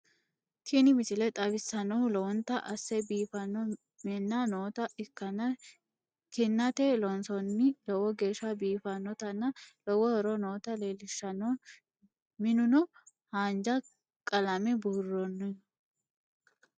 Tiini miisle xawisannohu loowonta asse biifano miina noota ekkana kiinate loonsoni loowo geesha biifanotanna loowo hooro noota lelishanno miinuno haanja kaalame buurnho.